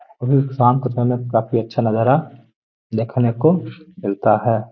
और ये शाम को समय काफी अच्छा नज़ारा देखने को मिलता है।